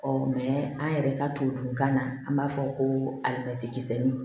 an yɛrɛ ka tubabukan na an b'a fɔ ko alimɛti